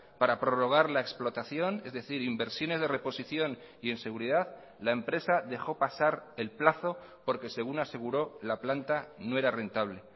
para prorrogar la explotación es decir inversiones de reposición y en seguridad la empresa dejo pasar el plazo porque según aseguró la planta no era rentable